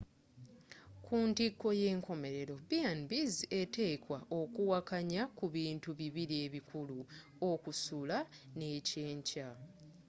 kuntiko y’enkomerero b&bs eteekwa okuwakanya kubintu bibiri ebikulu: okusula n’ekyenkya